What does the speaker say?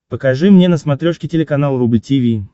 покажи мне на смотрешке телеканал рубль ти ви